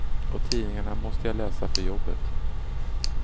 Och tidningarna måste jag läsa för jobbet.